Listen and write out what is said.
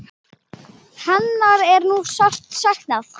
Hennar er nú sárt saknað.